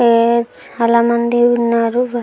చాలా మంది ఉన్నారు --